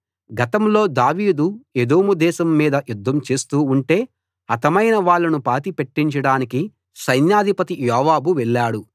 గతంలో దావీదు ఎదోము దేశం మీద యుద్ధం చేస్తూ ఉంటే హతమైన వాళ్ళను పాతిపెట్టించడానికి సైన్యాధిపతి యోవాబు వెళ్ళాడు